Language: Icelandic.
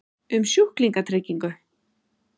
um sjúklingatryggingu?